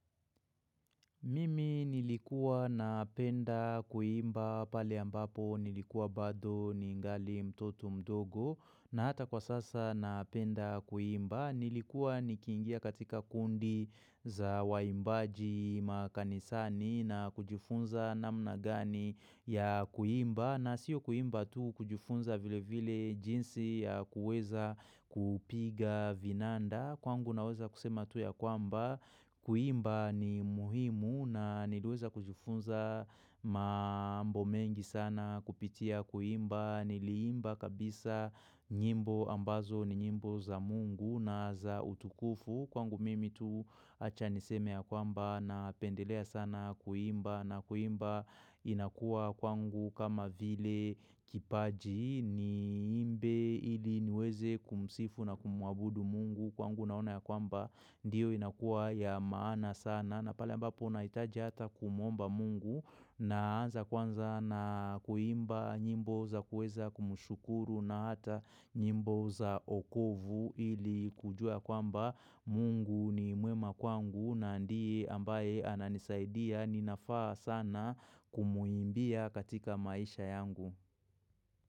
Mimi nilikuwa na penda kuimba pale ambapo nilikuwa bado ningali mtoto mdogo na hata kwa sasa na penda kuimba. Nilikuwa nikingia katika kundi za waimbaji makanisani na kujifunza namna gani ya kuimba. Na siyo kuimba tu kujufunza vile vile jinsi ya kuweza kupiga vinanda. Kwangu naweza kusema tu ya kwamba kuimba ni muhimu na nilueza kujifunza Maambo mengi sana kupitia kuimba Niliimba kabisa nyimbo ambazo ni nyimbo za mungu na za utukufu Kwangu mimi tu achaniseme ya kwamba na pendelea sana kuimba na kuimba inakua kwangu kama vile kipaji ni imbe ili niweze kumsifu na kumuabudu mungu kwangu naona ya kwamba Ndiyo inakua ya maana sana na pale ambapo unaitaji hata kumuomba mungu Naanza kwanza na kuimba nyimbo za kueza kumushukuru na hata nyimbo za okovu ili kujua kwamba mungu ni muema kwangu naandii ambaye ananisaidia ninafaa sana kumuimbia katika maisha yangu.